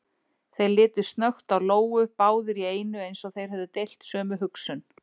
Þeir litu snöggt á Lóu, báðir í einu eins og þeir hefðu deilt sömu hugsun.